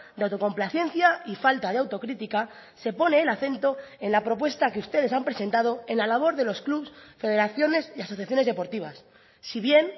de autocomplacencia y falta de autocrítica se pone el acento en la propuesta que ustedes han presentado en la labor de los clubs federaciones y asociaciones deportivas si bien